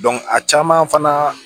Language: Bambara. a caman fana